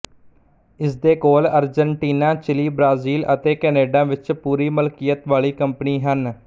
ਇਸਦੇ ਕੋਲ Argentina Chile Brazil ਅਤੇ ਕੈਨੇਡਾ ਵਿੱਚ ਪੂਰੀ ਮਲਕੀਅਤ ਵਾਲੀ ਕੰਪਨੀ ਹਨ